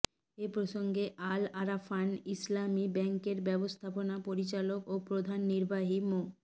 এ প্রসঙ্গে আল আরাফাহ ইসলামী ব্যাংকের ব্যবস্থাপনা পরিচালক ও প্রধান নির্বাহী মো